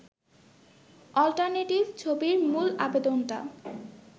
alternative ছবির মূল আবেদনটা